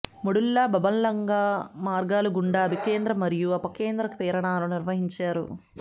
medulla oblongata మార్గాలు గుండా అభికేంద్ర మరియు అపకేంద్ర ప్రేరణలు నిర్వహించారు